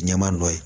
Ɲɛma dɔ ye